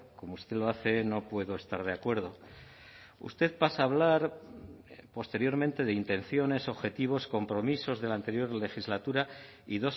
como usted lo hace no puedo estar de acuerdo usted pasa a hablar posteriormente de intenciones objetivos compromisos de la anterior legislatura y